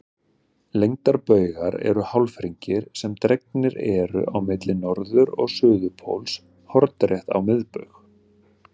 Lengdarbaugar eru hálfhringir sem dregnir eru á milli norður- og suðurpóls hornrétt á miðbaug.